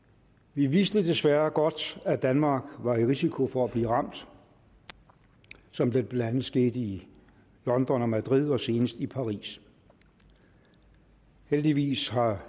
vi vidste desværre godt at danmark var i risiko for at blive ramt som det blandt andet skete i london og madrid og senest i paris heldigvis har